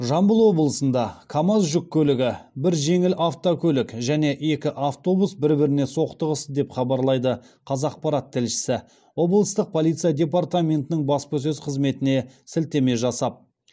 жамбыл облысында камаз жүк көлігі бір жеңіл автокөлік және екі автобус бір біріне соқтығысты деп хабарлайды қазақпарат тілшісі облыстық полиция департаментінің баспасөз қызметіне сілтеме жасап